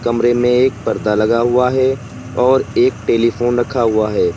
कमरे में एक पर्दा लगा हुआ है और एक टेलीफोन रखा हुआ है।